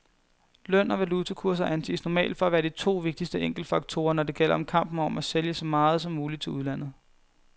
Løn og valutakurser anses normalt for at være de to vigtigste enkeltfaktorer, når det gælder kampen om at sælge så meget som muligt til udlandet.